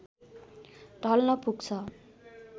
ढल्न पुग्छ